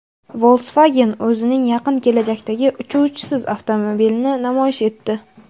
Volkswagen o‘zining yaqin kelajakdagi "Uchuvchisiz" avtomobilini namoyish etdi.